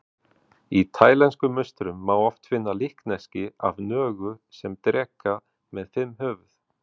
Í taílenskum musterum má oft finna líkneski af nögu sem dreka með fimm höfuð.